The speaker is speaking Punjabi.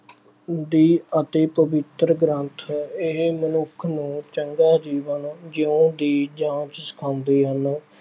ਦੀ ਅਤੇ ਪਵਿੱਤਰ ਗ੍ਰੰਥ, ਇਹ ਮਨੁੱਖ ਨੂੰ ਚੰਗਾ ਜੀਵਨ ਜੀਉਣ ਦੀ ਜਾਚ ਸਿਖਾਉਂਦੇ ਹਨ।